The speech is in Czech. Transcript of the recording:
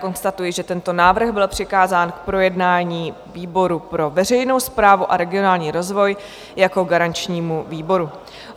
Konstatuji, že tento návrh byl přikázán k projednání výboru pro veřejnou správu a regionální rozvoj jako garančnímu výboru.